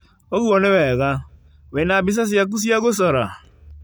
ũguo nĩ wega. Wĩna mbica ciaku cia gũcora?